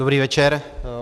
Dobrý večer.